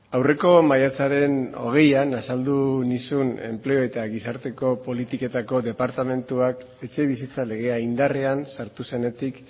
aurreko maiatzaren hogeian azaldu nizun enplegu eta gizarteko politiketako departamentuak etxebizitza legea indarrean sartu zenetik